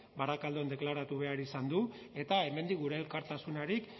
barakaldon deklaratu behar izan du eta hemendik gure elkartasunarik